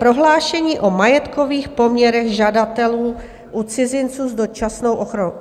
Prohlášení o majetkových poměrech žadatelů u cizinců s dočasnou ochranou.